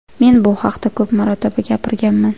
Men bu haqda ko‘p marotaba gapirganman.